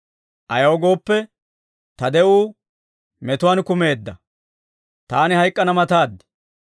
Ayaw gooppe, ta de'uu metuwaan kumeedda; taani hayk'k'ana mataad.